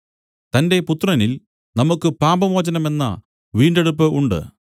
തന്റെ പുത്രനിൽ നമുക്ക് പാപമോചനമെന്ന വീണ്ടെടുപ്പ് ഉണ്ട്